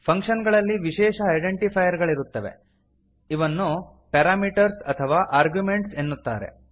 function ಗಳಲ್ಲಿ ವಿಶೇಷ identifier ಗಳಿರುತ್ತವೆ ಅವನ್ನು ಪಾರಾಮೀಟರ್ಸ್ ಅಥವಾ ಆರ್ಗ್ಯುಮೆಂಟ್ಸ್ ಎನ್ನುತ್ತಾರೆ